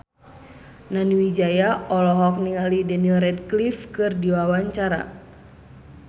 Nani Wijaya olohok ningali Daniel Radcliffe keur diwawancara